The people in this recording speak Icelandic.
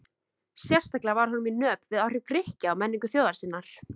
Sérstaklega var honum í nöp við áhrif Grikkja á menningu þjóðar sinnar.